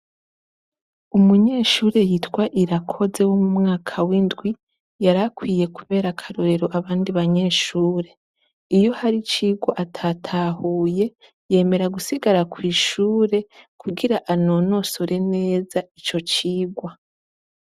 Umunyeshure yitwa irakoze w'mu mwaka w'indwi yarakwiye, kubera akarorero abandi banyeshure, iyo hari cirwa atatahuye, yemera gusigara kw'ishure kugira anonosore neza ico cigwa.